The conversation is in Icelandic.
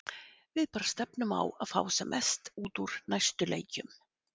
Við bara stefnum á að fá sem mest út úr næstu leikjum.